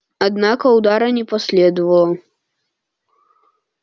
однако удара не последовало